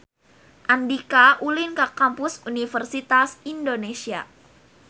Andika ulin ka Kampus Universitas Indonesia